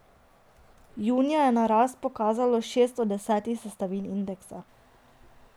Junija je na rast pokazalo šest od desetih sestavin indeksa.